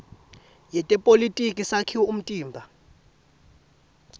yetepolitiki sakhiwo umtimba